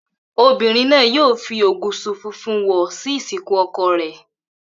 Obìnrin náà yóò fi ògùṣọ̀ funfun wọ̀ sí ìsìnkú ọkọ rẹ̀